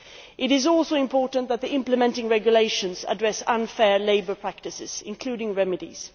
It is also important that the implementing regulations address unfair labour practices, including remedies.